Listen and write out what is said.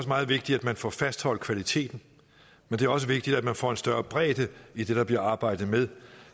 meget vigtigt at man får fastholdt kvaliteten men det er også vigtigt at man får en større bredde i det der bliver arbejdet med